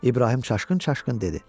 İbrahim çaşqın-çaşqın dedi: